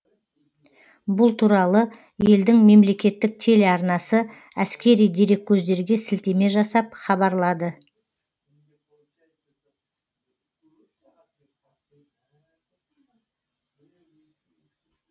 бұл туралы елдің мемлекеттік телеарнасы әскери дереккөздерге сілтеме жасап хабарлады